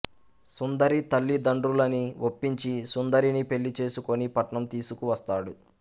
సుందరి తల్లిదండ్రులని ఒప్పించి సుందరిని పెళ్లి చేసుకొని పట్నం తీసుకువస్తాడు